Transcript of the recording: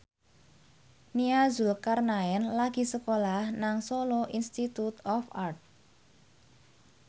Nia Zulkarnaen lagi sekolah nang Solo Institute of Art